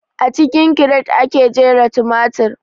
A cikin kiret ake jera tumatir